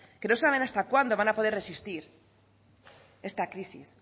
que no saben hasta cuándo van a poder resistir esta crisis